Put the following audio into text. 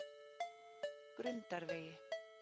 Grundarvegi